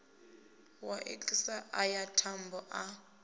ya iks aya mathomo a